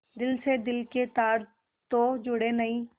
दिल से दिल के तार तो जुड़े नहीं